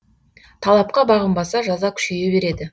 талапқа бағынбаса жаза күшейе береді